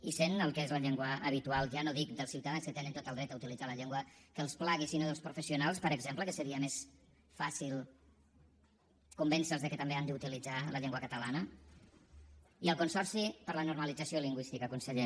i sent el que és la llengua habitual ja no dic dels ciutadans que tenen tot el dret a utilitzar la llengua que els plagui sinó dels professionals per exemple que seria més fàcil convèncer los que també han d’utilitzar la llengua catalana i el consorci per a la normalització lingüística conseller